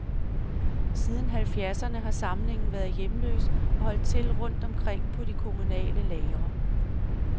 Siden halvfjerdserne har samlingen været hjemløs og holdt til rundt omkring på de kommunale lagre.